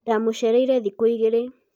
ndamũcereirĩ thikũ ĩgĩrĩ